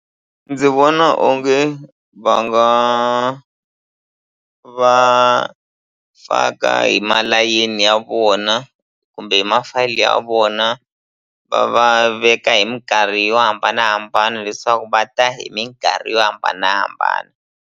Ndzi vona onge va nga va faka hi malayeni ya vona kumbe hi ma-file ya vona va va veka hi minkarhi yo hambanahambana leswaku va ta hi minkarhi yo hambanahambana.